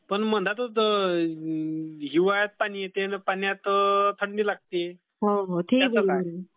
पण मला तर हिवाळ्यात पाणी येते आणि पाण्यात थंडी लागते. त्याचं काय?